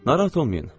Narahat olmayın.